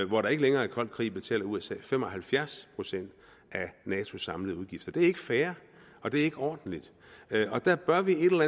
hvor der ikke længere er koldkrig betaler usa fem og halvfjerds procent af natos samlede udgifter det er ikke fair og det er ikke ordentligt der bør vi et eller